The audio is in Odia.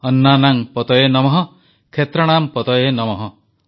ଅନ୍ନାନାଂ ପତୟେ ନମଃ କ୍ଷେତ୍ରାଣାମ୍ ପତୟେ ନମଃ